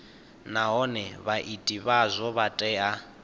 nahone vhaiti vhazwo vha tea